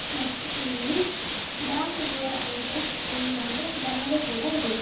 ಮತ್ತು ಇಲ್ಲಿ ಡಾಕ್ ಗೊರ್ ಅಂತ ಇಲ್ಲಿ ಒಂದು ಬ್ಯಾನರ್ ಕೂಡ ಇದೆ.